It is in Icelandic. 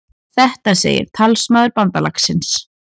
Þetta segir talsmaður bandalagsins